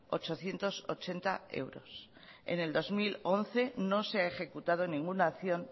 ochocientos ochenta euros en el dos mil once no se ha ejecutado ninguna acción